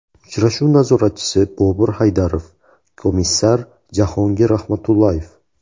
Uchrashuv nazoratchisi Bobur Haydarov, komissar Jahongir Rahmatullayev.